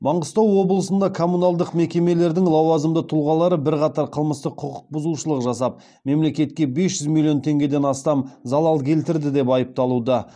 маңғыстау облысында коммуналдық мекемелердің лауазымды тұлғалары бірқатар қылмыстық құқық бұзушылық жасап мемлекетке бес жүз миллион теңгеден астам залал келтірді деп айыпталуда